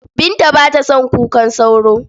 Binta ba ta son kukan sauro.